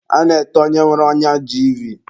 A na-ete onye nwere ọnya jiivii.